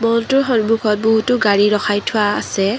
ম'লটোৰ সন্মূখত বহুতো গাড়ী ৰখাই থোৱা আছে।